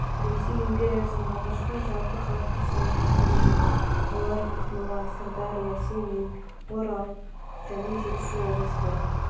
жылы ресей империясының алғашқы жалпыхалықтық санағы жүргізілді олар ақмола сырдария семей орал торғай және жетісу облыстары